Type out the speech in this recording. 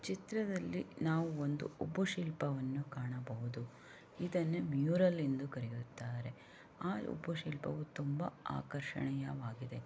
ಚಿತ್ರದಲ್ಲಿ ನಾವು ಒಂದು ಶಿಲ್ಪವನ್ನು ಕಾಣಬಹುದು.ಇದ್ದಾನೆ ಮ್ಯೂರಲ್ ಎಂದು ಕರೆಯುತ್ತಾರೆ ಆ ಒಬ್ಬ ಶಿಲ್ಪವು ತುಂಬ ಆಕರ್ಷಣ ವಾಗಿದೆ.